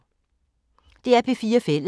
DR P4 Fælles